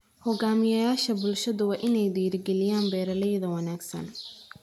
Hogaamiyayaasha bulshadu waa inay dhiirigeliyaan beeralayda wanaagsan.